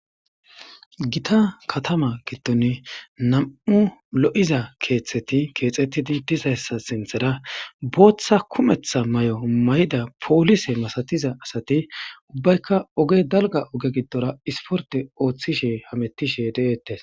Gita Katama gidon nam'u lo'iza ketheti kexetizi dizaysa sintera botha kumeta mayo mayida polise masatiza asati ubayika oge daliga oge gidora isporte otishe hametishe de'etes.